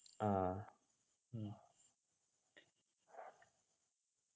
ആഹ്